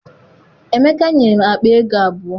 Emeka nyere m akpaego abụọ.